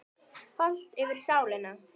Hollt fyrir sálina.